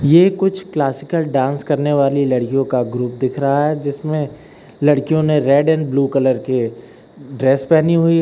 ये कुछ classical dance करने वाली लड़कियों का ग्रुप दिख रहा है जिसमें लड़कियों ने रेड एंड ब्ल्यू कलर के ड्रेस पहनी हुई है।